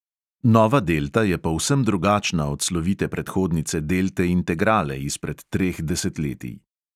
Nova delta je povsem drugačna od slovite predhodnice delte integrale izpred treh desetletij.